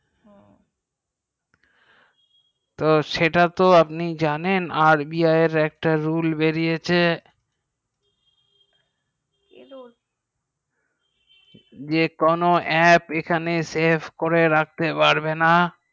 তো সেটা তো আপনি জানেন যে RBI এর একটা rules বেরিয়েছে কি যে কোনো aap এখানে save করে রাখতে পারবে না